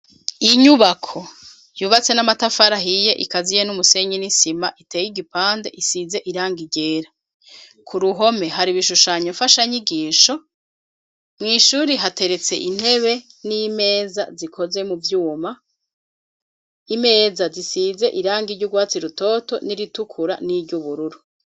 Inyubako yubatse n'amatafari ahiye ikaziye n'umusenyi n'isima iteye igipande isize irangi ryera. Ku ruhome hari ibishushanyo mfashanyigisho, mw'ishuri hateretse intebe n'imeza zikozwe mu vyuma, imeza zisize irangi r'urwatsi rutoto n'iritukura n'iry'ubururu.